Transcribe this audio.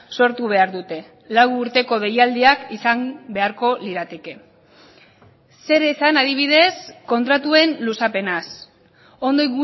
sortu behar dute lau urteko deialdiak izan beharko lirateke zer esan adibidez kontratuen luzapenaz ondo